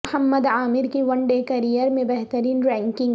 محمد عامر کی one day career میں بہترین رینکنگ